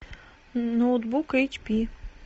ноутбук эйч пи